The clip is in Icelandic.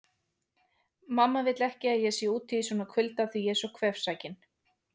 Mamma vill ekki að ég sé úti í svona kulda því ég er svo kvefsækinn